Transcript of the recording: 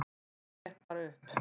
Allt gekk bara upp.